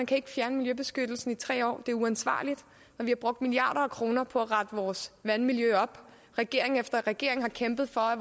kan ikke fjerne miljøbeskyttelsen i tre år det er uansvarligt når vi har brugt milliarder af kroner på at rette vores vandmiljø op og regering efter regering har kæmpet for at